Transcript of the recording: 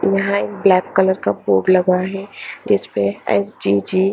यहा एक black colour का बोर्ड लगा हे जिस पे एस_जी_जी --